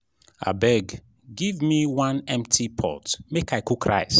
abeg give me one empty pot make i cook rice